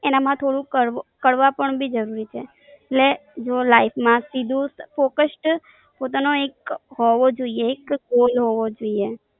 એને માં થોડું થોડું કડવાપણ બી જરૂરી છે, એટલે જો લાઈફ માથી દૂર ફોકષ્ડ પોતાનો એક હોવો જોઈએ એક Goal હોવો જોઈએ.